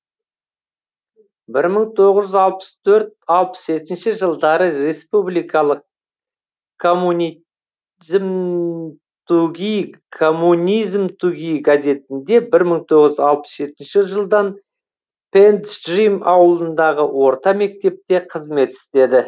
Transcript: бір мың тоғыз жүз алпыс төрт алпыс жетінші жылдары республикалық коммунизмтуги газетінде бір мың тоғыз жүз алпыс жетінші жылдан пенджим ауылындағы орта мектепте қызмет істеді